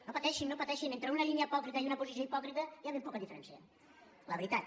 no pateixin entre una línia hipòcrita i una posició hipòcrita hi ha ben poca diferència la veritat